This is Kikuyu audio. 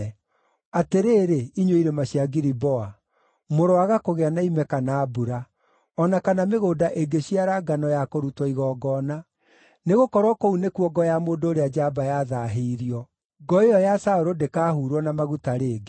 “Atĩrĩrĩ, inyuĩ irĩma cia Giliboa, mũroaga kũgĩa na ime kana mbura, o na kana mĩgũnda ĩngĩciara ngano ya kũrutwo igongona. Nĩgũkorwo kũu nĩkuo ngo ya mũndũ ũrĩa njamba yathaahĩirio, ngo ĩyo ya Saũlũ ndĩkahuurwo na maguta rĩngĩ.